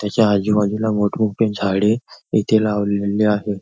त्याच्या आजूबाजूला मोठ मोठी झाडे इथे लावलेली आहे.